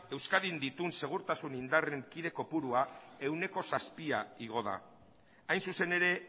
euskadin dituen segurtasun indarren kide kopurua ehuneko zazpia igo da hain zuzen ere